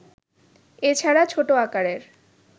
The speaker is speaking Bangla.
এছাড়া ছোট আকারের